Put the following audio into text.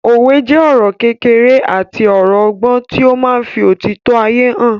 Òwe jẹ́ ọ̀rọ̀ kékeré àti ọ̀rọ̀ ọgbọ́n tí ó máa ń fí òtítọ́ ayé hàn